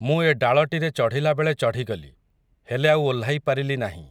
ମୁଁ ଏ ଡାଳଟିରେ ଚଢ଼ିଲାବେଳେ ଚଢ଼ିଗଲି, ହେଲେ ଆଉ ଓହ୍ଲାଇ ପାରିଲି ନାହିଁ ।